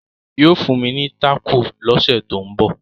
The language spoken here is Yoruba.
yóò fún mi taco l'ose to nbọ.